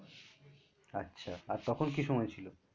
আচ্ছা তখন কী সময় ছিলো?